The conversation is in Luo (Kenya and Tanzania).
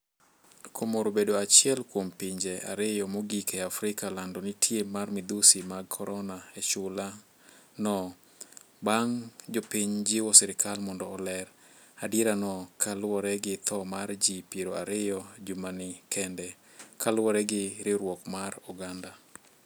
Comoro obedo achiel kuom pinje ariyo mogik e Africa lando nitie mar midhusi mag korona e chula no, bang' jopiny jiwo serkal mondi oler adierano ka luwore gi tho mar ji piero ariyo jumani kende ,kaluwore gi riwruok mar oganda.